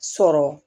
Sɔrɔ